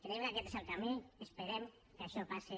creiem que aquest és el camí esperem que això passi